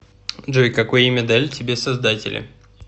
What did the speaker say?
джой какое имя дали тебе создатели